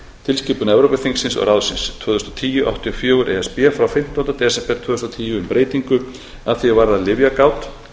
tilskipun evrópuþingsins og ráðsins tvö þúsund og tíu áttatíu og fjögur e s b frá fimmtánda desember tvö þúsund og tíu um breytingu að því er varðar lyfjagát